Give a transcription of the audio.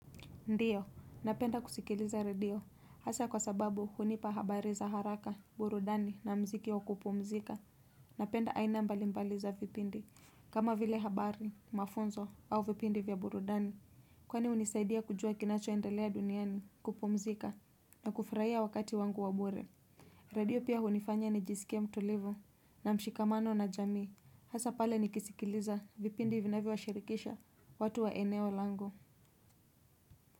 Ndiyo, napenda kusikiliza radio, hasa kwa sababu hunipa habari za haraka, burudani na mziki wa kupumzika napenda aina mbali mbali za vipindi kama vile habari, mafunzo au vipindi vya burudani kwani hunisaidia kujua kinacho endelea duniani, kupumzika, na kufurahia wakati wangu wa bure. Radio pia hunifanya ni jisikie mtulivu na mshikamano na jamii, hasa pale nikisikiliza vipindi vinavyo wa shirikisha, watu wa eneo langu.